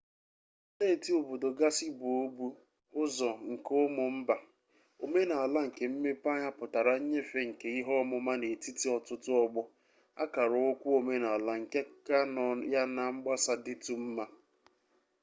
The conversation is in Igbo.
steeti-obodo gasị bụ obu ụzọ nke ụmụ mba omenaala kemmepeanya pụtara nnyefe nke ihe ọmụma n'etiti ọtụtụ ọgbọ akaraụkwụ omenaala nke ka nọ ya na mgbasa dịtụ mma